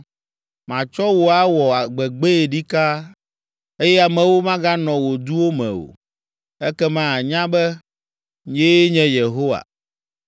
Matsɔ wò awɔ gbegbee ɖika, eye amewo maganɔ wò duwo me o. Ekema ànya be, nyee nye Yehowa.’